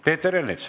Peeter Ernits.